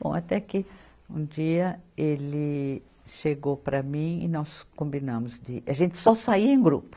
Bom, até que um dia ele chegou para mim e nós combinamos de a gente só saía em grupo.